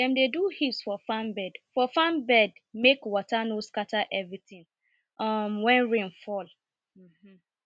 dem dey do heaps for farm bed for farm bed make water no scatter everything um when rain fall um